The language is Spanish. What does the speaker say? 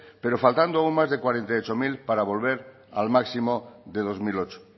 pero faltando aún más de cuarenta y ocho mil para volver al máximo de dos mil ocho